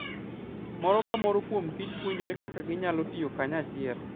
Moro ka moro kuom kich puonjore kaka ginyalo tiyo kanyachiel.